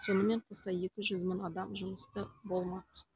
сонымен қоса екі жүз мың адам жұмысты болмақ